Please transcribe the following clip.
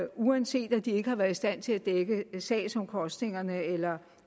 uanset at de ikke har været i stand til at dække sagsomkostningerne eller